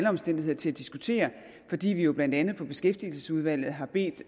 omstændigheder til at diskutere fordi vi jo blandt andet i beskæftigelsesudvalget har bedt